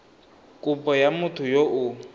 kopo ya motho yo o